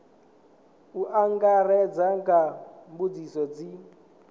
u angaredza nga mbudziso dzi